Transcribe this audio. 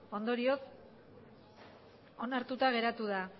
ondorioz onartuta geratu da